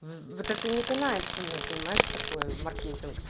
вот это не канает со мной понимаешь что такое в маркетинг